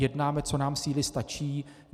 Jednáme, co nám síly stačí.